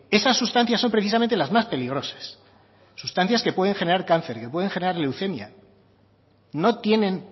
esas sustancias son precisamente las más peligrosas sustancias que pueden generar cáncer que pueden generar leucemia no tienen